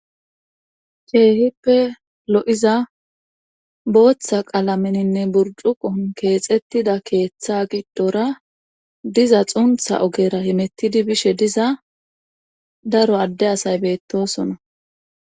keehippe lo7iza booththa qalameninne burjuqon keexettida keeththa giddora diza xuntha ogera himettidi bishe diza daro adde asay beettosona